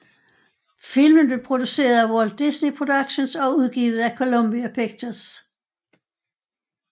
Filmen blev produceret af Walt Disney Productions og udgivet af Columbia Pictures